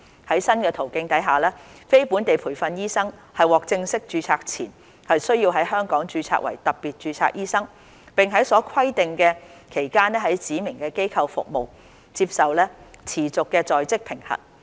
在新途徑下，非本地培訓醫生獲正式註冊前，須在香港註冊為特別註冊醫生，並在所規定的期間在指明機構服務，接受持續的在職評核。